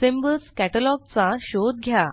symbols catalogue चा शोध घ्या